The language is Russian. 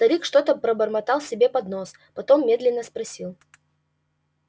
старик что-то пробормотал себе под нос потом медленно спросил